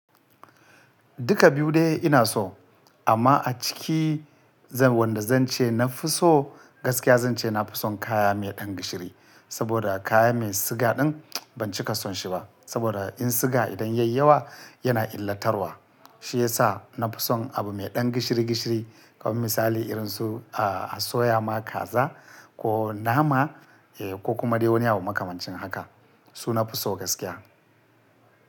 Duka biyu dai ina so amma a ciki wanda zan ce na fi so gaskiya zan ce na fi son kaya mai ɗan gishiri. Saboda kaya mai siga ɗin ban cika son shi ba. Saboda in siga idan yayi yawa yana illatarwa. Shi yasa na fi son abu mai ɗan gishiri gishiri. Kamar misali irin su asoya ma kaza ko nama ko kuma dai wani abu makamancin haka su na fi so gaskiya.